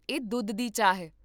ਇਹ ਦੁੱਧ ਦੀ ਚਾਹ ਹੈ